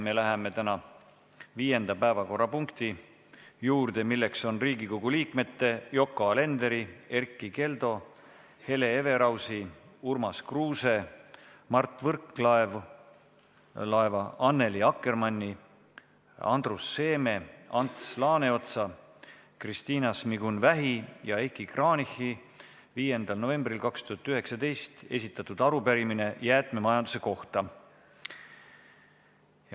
Läheme tänase viienda päevakorrapunkti juurde, milleks on Riigikogu liikmete Yoko Alenderi, Erkki Keldo, Hele Everausi, Urmas Kruuse, Mart Võrklaeva, Annely Akkermanni, Andrus Seeme, Ants Laaneotsa, Kristina Šmigun-Vähi ja Heiki Kranichi 6. novembril 2019 esitatud arupärimine jäätmemajanduse kohta.